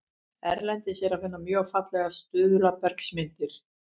Erlendis er að finna mjög fallegar stuðlabergsmyndanir.